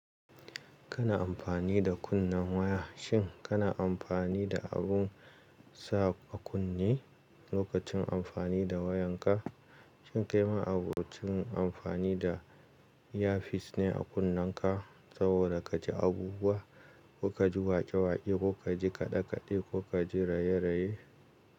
Kana amfani da kunnen waya. Shin kana amfani da abun sa a kunne lokacin amfani da wayanka? Shin kai ma'abocin amfani da ear piece ne a kunnenka saboda kaji abubuwa, ko kaji waƙe-waƙe, ko kaji kaɗe-kaɗe ko kaji raye-raye?